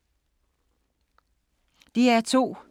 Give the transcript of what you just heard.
DR2